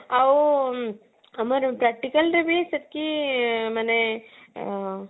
ଆଉ ଆମର practical ରେ ବି ସେତିକି ମାନେ ଆଁ